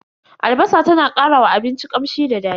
Albasa ta na karawa abinci kamshi da dadi.